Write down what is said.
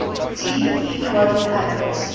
gdp growth averaged